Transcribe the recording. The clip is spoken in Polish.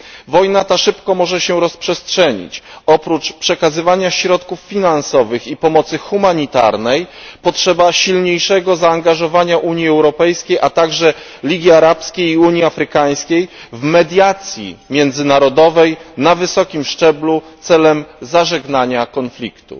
Wojna ta może się szybko rozprzestrzenić. Oprócz przekazywania środków finansowych i pomocy humanitarnej potrzeba silniejszego zaangażowania Unii Europejskiej, a także Ligii Arabskiej i Unii Afrykańskiej, w mediacje międzynarodowe na wysokim szczeblu celem zażegnania konfliktu.